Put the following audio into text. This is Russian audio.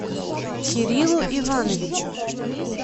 кириллу ивановичу